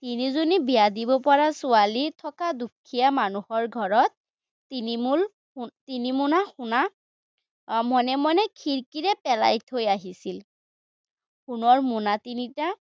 তিনিজনী বিয়া দিব পৰা ছোৱালী থকা দুখীয়া মানুহৰ ঘৰত তিনি মুল তিনি মোনৰ সোণ মনে মনে খিৰিকীৰে পেলাই থৈ আহিছিল। সোণৰ মোনা তিনিটা